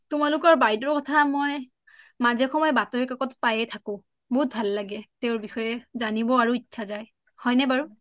তোমালোকৰ বাইদেউৰ কথা মই মাজে সময় বাতৰকাকতত পাইয়ে থাকোঁ বহুত ভাল লাগে তেওঁৰ বিষয়ে জানিব আৰু ইচ্ছা যায় হয় নে বাৰু